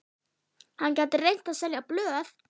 Hann gæti reynt að selja blöð.